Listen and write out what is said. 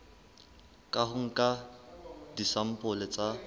ka ho nka disampole tsa